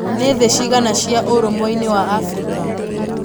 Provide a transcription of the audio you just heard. nĩ thĩ cigana cĩa ũrũmweinĩ wa africa